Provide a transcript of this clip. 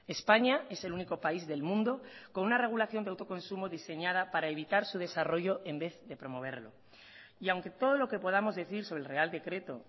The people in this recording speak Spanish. españa es el único país del mundo con una regulación de autoconsumo diseñada para evitar su desarrollo en vez de promoverlo y aunque todo lo que podamos decir sobre el real decreto